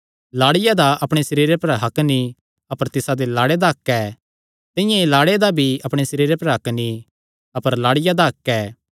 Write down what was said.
लाड़िया दा अपणे सरीरे पर हक्क नीं अपर तिसादे लाड़े दा हक्क ऐ तिंआं ई लाड़े दा भी अपणे सरीरे पर हक्क नीं अपर लाड़िया दा हक्क ऐ